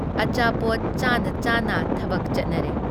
ꯑꯆꯥꯄꯣꯠ ꯆꯥꯅ ꯆꯥꯅ ꯊꯕꯛ ꯆꯠꯅꯔꯦ ꯫